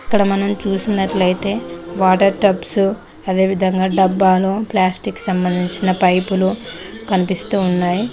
ఇక్కడ మనం చూసినట్లయితే వాటర్ టప్స్ అదేవిధంగా డబ్బాలో ప్లాస్టిక్ సంబంధించిన పైపులు కనిపిస్తూ ఉన్నాయి.